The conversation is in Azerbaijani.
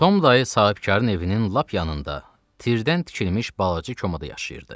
Tom dayı sahibkarın evinin lap yanında tirdən tikilmiş balaca komada yaşayırdı.